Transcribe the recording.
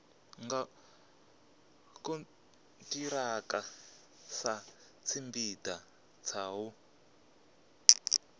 nga khonthiraka satshipida tsha u